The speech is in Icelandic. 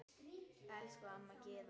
Elsku amma Gyða.